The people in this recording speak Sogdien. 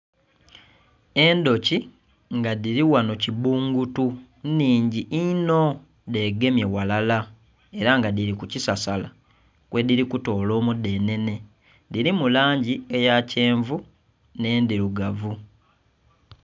Endhuki nga dhili wano kibbungutu nnhingi inho dhegemye ghalala era nga dhiri ku kisasala kwedhiri kutoola omudhenhe. Dhirimu langi eya kyenvu nh'endhirugavu.